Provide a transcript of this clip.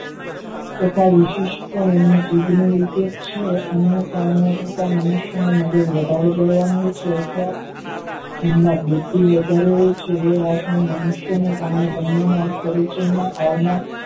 તથા વિશિષ્ઠ એમને જીભને વિશે અન્ય કામો કરતા મનુષ્યના મગજ વધારે ગરમ હોય છે તથા તેમાં ભુદ્ધિ વધારે હોય છે તે વાતમાં મનુષ્ય બને માં પરિચયમાં આવનાર